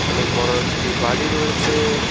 অনেক বড় একটি বাড়ি রয়েছে।